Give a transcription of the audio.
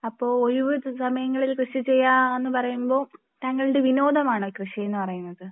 അപ്പോൾ ഒഴുവുസമയങ്ങളിൽ കൃഷി ചെയ്യാം എന്ന് പറയുമ്പോൾ താങ്കളുടെ വിനോദമാണോ കൃഷി എന്ന് പറയുന്നത്.